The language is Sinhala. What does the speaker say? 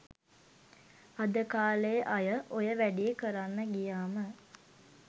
අද කාලෙ අය ඔය වැඩේ කරන්න ගියාම